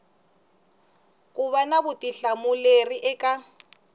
ku va na vutihlamuleri eka